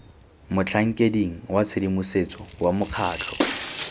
motlhankeding wa tshedimosetso wa mokgatlho